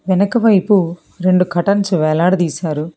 వెనక వైపు రెండు కర్టెన్స్ వేలాడదీశారు.